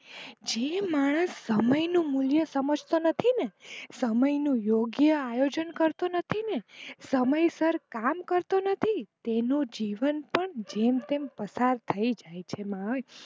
જે માણસ સમય નું મૂલ્ય સમજતો નથી ને સમય નું યોગ્ય આયોજન કરતો નથી ને સમયસર કામ કરતો નથી તેનું જીવન પણ જેમ તેમ પસાર થઇ જાય છે.